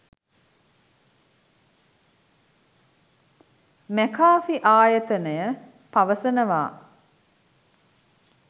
McAfee ආයතනය පවසනවා